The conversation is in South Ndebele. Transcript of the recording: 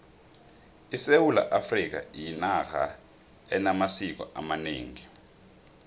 isewula afrikha yinarha enamasiko amanengi